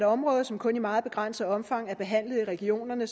område som kun i meget begrænset omfang er behandlet i regionerne